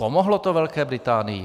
Pomohlo to Velké Británii?